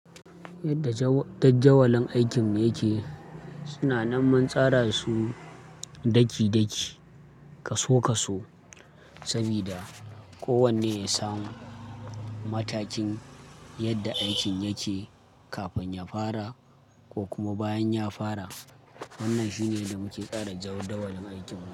Yadda dajawalin aikin yake, suna nan mun tsara su daki daki, kaso kaso sabida kowanne ya samu matakin yadda aikin yake kafin ya fara ko kuma bayan ya fara. Wannan shine da muke tsara jadawalin aikin.